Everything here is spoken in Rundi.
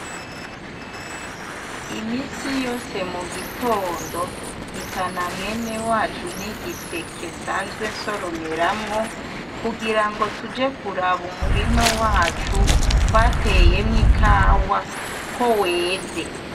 Iminsi yose mu gitondo, mpitana mwene wacu n'igiseke nsanzwe nsoromeramwo kugira ngo tuje kuraba umurima wacu twateyemw' ikawa ko weze.